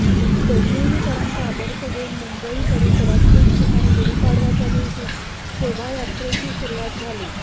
डोंबिवलीकरांचा आदर्श घेऊन मुंबई परिसरात ठिकठिकाणी गुढीपाडव्याच्या दिवशी शोभायात्रेची सुरुवात झाली